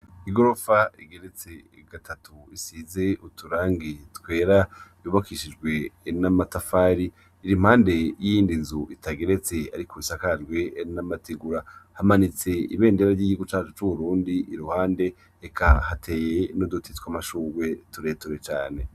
Igorofa igeretse gatatu isize uturangi twera yubakishijwe n’amatafari, iri impande yiyindi nzu itageretse ariko isakajwe n’amategura, hamanitse ibendera ry’igihugu cacu c’Uburundi iruhande, eka hateye n’uduti twamashugwe tureture cane.